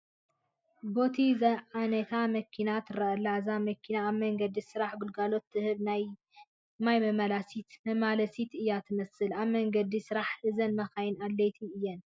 ቦቲ ዝዓነታ መኪና ትርአ ኣላ፡፡ እዛ መኪና ኣብ መንገዲ ስራሕ ግልጋሎት ትህብ ናይ ማይ መመላለሲት እያ ትመስል፡፡ ኣብ መንገዲ ስራሕ እዘን መኻይን ኣድለይቲ እየን፡፡